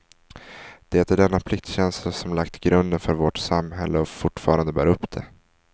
Det är denna pliktkänsla som lagt grunden för vårt samhälle och fortfarande bär upp det.